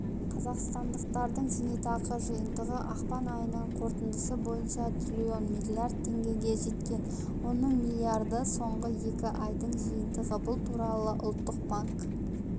қазақстандықтардың зейнетақы жиынтығы ақпан айының қорытындысы бойынша триллион миллиард теңгеге жеткен оның миллиарды соңғы екі айдың жиынтығы бұл туралы ұлттық банк